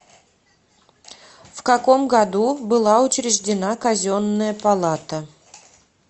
в каком году была учреждена казенная палата